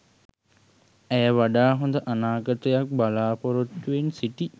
ඇය වඩා හොඳ අනාගතයක් බලාපොරොත්තුවෙන් සිටි